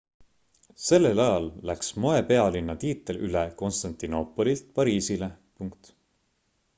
sellel ajal läks moepealinna tiitel üle konstantinoopolilt pariisile